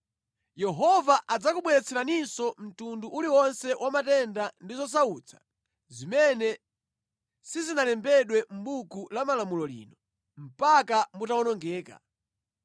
Yehova adzakubweretseraninso mtundu uliwonse wa matenda ndi zosautsa zimene sizinalembedwe mʼbuku la malamulo lino, mpaka mutawonongeka.